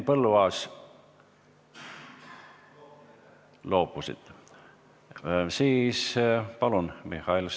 Palun, Mihhail Stalnuhhin!